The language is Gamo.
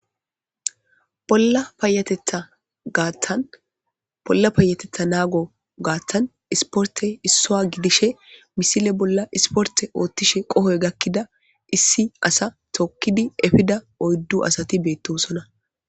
Bolla payatetha naguwa garssan ispirttey issuwa gidishin hessape misille bollaispotte othishin qohay gakizza issi asa tokiddi effidda oyddu asati bettossona.